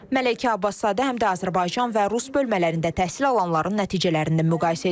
Məleykə Abbaszadə həm də Azərbaycan və rus bölmələrində təhsil alanların nəticələrini müqayisə edib.